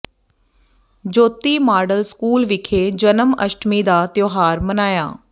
ਜੋਤੀ model school ਵਿਖੇ Janmashtami ਦਾ ਤਿਉਹਾਰ ਮਨਾਇਆ